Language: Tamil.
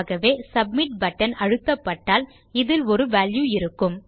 ஆகவே சப்மிட் பட்டன் அழுத்தப்பட்டால் இதில் ஒரு வால்யூ இருக்கும்